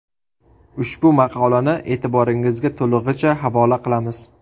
Ushbu maqolani e’tiboringizga to‘lig‘icha havola qilamiz.